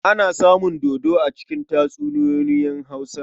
Ana samun dodo a cikin tatsuniyoyin Hausa.